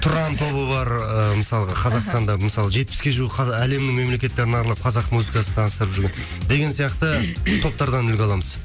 тұран тобы бар ы мысалға мхм қазақстанда мысалы жетпіске жуық әлемнің мемлекеттерін аралап қазақ музыкасын таныстырып жүрген деген сияқты топтардан үлгі аламыз